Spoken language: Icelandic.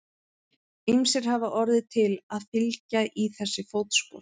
Ýmsir hafa orðið til að fylgja í þessi fótspor.